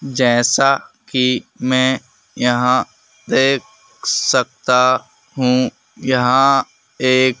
जैसा कि मैं यहां देख सकता हूं यहां एक--